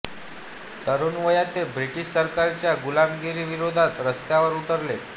तरुण वयात ते ब्रिटिश सरकारच्या गुलामगिरी विरोधात रस्त्यावर उतरले